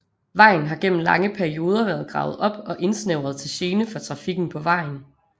Vejen har gennem lange perioder været gravet op og indsnævret til gene for trafikken på vejen